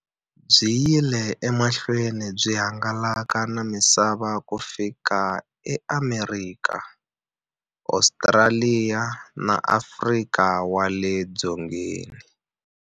Byi yile emahlweni byi hangalaka na misava ku fika e Amerika, Ostraliya na Afrika wale dzongeni.